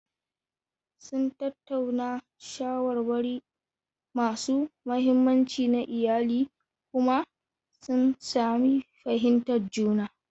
Sun tattauna shawarwari masu muhimmanci na iyali kuma sun sami fahimtar juna.